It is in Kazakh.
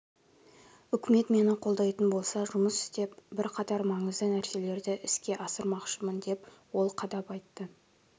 үкімет мені қолдайтын болса жұмыс істеп бірқатар маңызды нәрселерді іске асырмақшымын деп ол қадап айтты